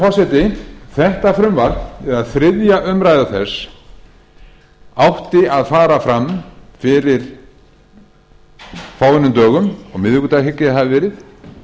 forseti þetta frumvarp eða þriðju umræðu þess átti að fara fram fyrir fáeinum dögum á miðvikudag hygg ég að það hafi verið